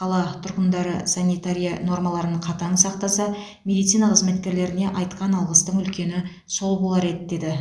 қала тұрғындары санитария нормаларын қатаң сақтаса медицина қызметкерлеріне айтқан алғыстың үлкені сол болар еді деді